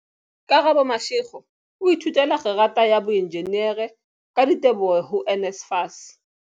Karabo Mashego o ithutela kgerata ya boenjinere, ka diteboho ho NSFAS.